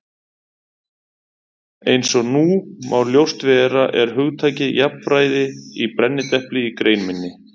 Eins og nú má ljóst vera er hugtakið jafnræði í brennidepli í grein minni.